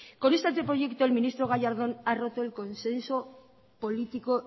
con este anteproyecto el ministro gallardón ha roto el consenso político